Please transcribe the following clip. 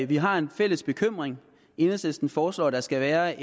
vi har en fælles bekymring enhedslisten foreslår at der skal være